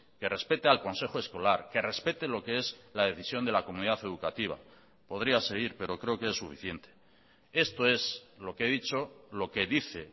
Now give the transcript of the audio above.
que respete al consejo escolar que respete lo que es la decisión de la comunidad educativa podría seguir pero creo que es suficiente esto es lo que he dicho lo que dice